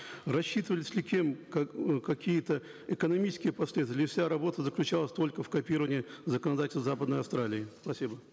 рассчитывались ли кем как э какие то экономические последствия или вся работа заключалась только в копировании законодательства западной австралии спасибо